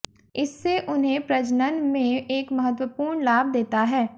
इससे उन्हें प्रजनन में एक महत्वपूर्ण लाभ देता है